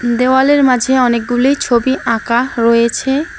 দেওয়ালের মাঝে অনেকগুলি ছবি আঁকা রয়েছে।